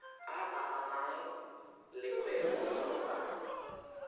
a amanang le kgwebo kgotsa